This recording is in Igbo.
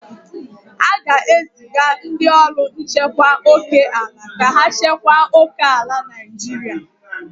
A ga-eziga ndị ọrụ nchekwa oke ala ka ha chekwa oke ala Naijiria.